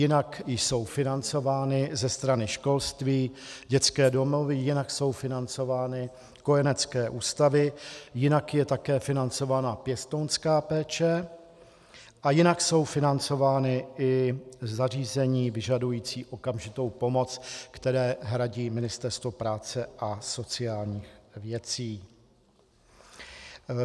Jinak jsou financovány ze strany školství dětské domovy, jinak jsou financovány kojenecké ústavy, jinak je také financovaná pěstounská péče a jinak jsou financována i zařízení vyžadující okamžitou pomoc, které hradí Ministerstvo práce a sociálních věcí.